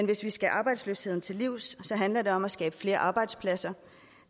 hvis vi skal arbejdsløsheden til livs handler det om at skabe flere arbejdspladser